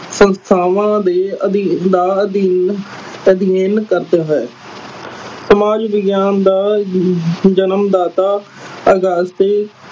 ਸੰਸਥਾਵਾਂ ਦੇ ਅਧੀਨ ਦਾ ਅਧੀਨ ਅਧੀਨ ਕਰਜ ਹੈ ਸਮਾਜ ਵਿਗਿਆਨ ਦਾ ਜਨਮਦਾਤਾ